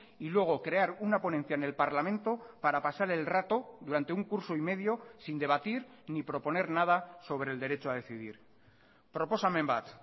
y luego crear una ponencia en el parlamento para pasar el rato durante un curso y medio sin debatir ni proponer nada sobre el derecho a decidir proposamen bat